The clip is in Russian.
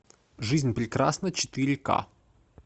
жизнь прекрасна четыре ка